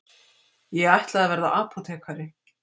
Ég ætlaði að verða apótekari.